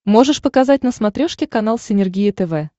можешь показать на смотрешке канал синергия тв